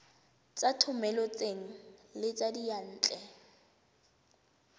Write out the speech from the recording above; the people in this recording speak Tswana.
tsa thomeloteng le tsa diyantle